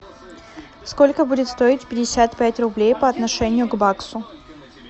сколько будет стоить пятьдесят пять рублей по отношению к баксу